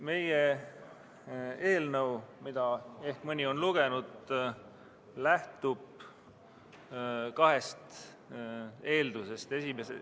Meie eelnõu, mida mõni on ehk lugenud, lähtub kahest eeldusest.